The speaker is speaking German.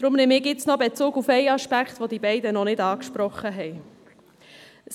Deshalb nehme ich nur noch Bezug auf einen Aspekt, den die beiden noch nicht angesprochen haben.